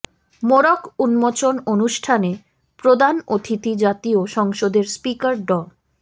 মোড়ক উন্মোচন অনুষ্ঠানে প্রধান অতিথি জাতীয় সংসদের স্পিকার ড